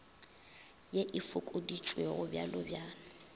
ye e fokoditšwego bj bj